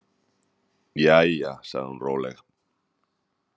Jæja, sagði hún róleg.